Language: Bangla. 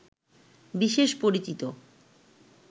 বিশেষ পরিচিত